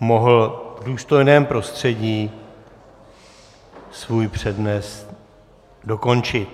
mohl v důstojném prostředí svůj přednes dokončit.